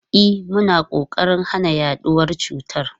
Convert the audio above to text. E, muna kokarin hana yaduwar cutar.